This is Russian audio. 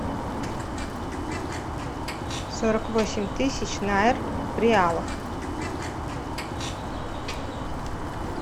сорок восемь тысяч найр в реалах